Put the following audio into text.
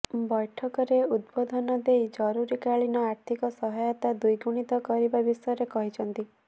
ବୈଠକରେ ଉଦ୍ବୋଧନ ଦେଇ ଜରୁରିକାଳୀନ ଆର୍ଥିକ ସହାୟତା ଦ୍ୱିଗୁଣିତ କରିବା ବିଷୟରେ କହିଛନ୍ତି